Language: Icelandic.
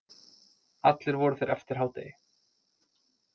Allir voru þeir eftir hádegi